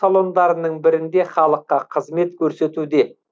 салондарының бірінде халыққа қызмет көрсетуде